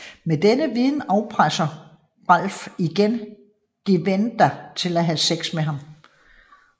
Med denne viden afpresser Ralph igen Gwenda til at have sex med ham